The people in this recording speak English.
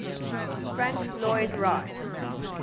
frank lloyd wright